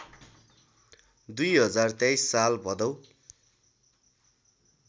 २०२३ साल भदौ